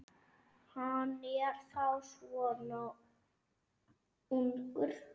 Hann er þá svona ungur.